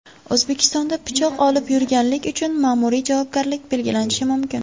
O‘zbekistonda pichoq olib yurganlik uchun ma’muriy javobgarlik belgilanishi mumkin.